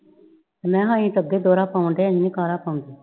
ਮੈ ਅਸੀਂ ਤੇ ਅਗੇ ਡੋਰਾ ਪਾੰਡੇਏ ਆ ਇੰਝ ਨੀ ਕਾਰਾ ਪਾਂਦੇ